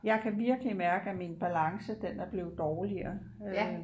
Jeg kan virkelig mærke at min balance den er blevet dårligere øh